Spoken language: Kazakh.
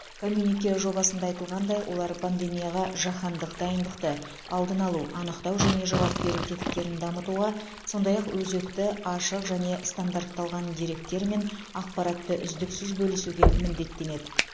коммюнике жобасында айтылғандай олар пандемияға жаһандық дайындықты алдын алу анықтау және жауап беру тетіктерін дамытуға сондай ақ өзекті ашық және стандартталған деректер мен ақпаратты үздіксіз бөлісуге міндеттенеді